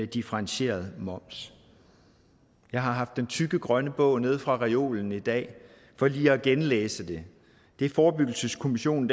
differentieret moms jeg har haft den tykke grønne bog nede fra reolen i dag for lige at genlæse det det forebyggelseskommissionen